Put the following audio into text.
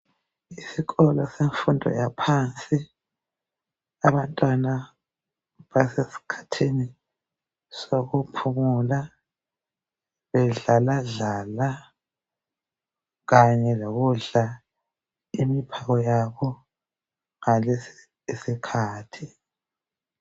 Isikolo semfundo yaphansi. Abantwana basesikhathini sokuphumula bedlala dlala kanye lokudla imiphako yabo ngalesi isikhathi.